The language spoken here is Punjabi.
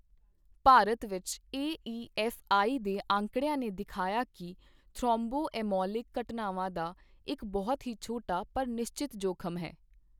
ਭਾਰਤ ਵਿੱਚ ਏਈਐਫਆਈ ਦੇ ਅੰਕੜਿਆਂ ਨੇ ਦਿਖਾਇਆ ਕਿ ਥ੍ਰੋਮਬੋਐਮੋਲਿਕ ਘਟਨਾਵਾਂ ਦਾ ਇੱਕ ਬਹੁਤ ਹੀ ਛੋਟਾ ਪਰ ਨਿਸ਼ਚਤ ਜੋਖਮ ਹੈ।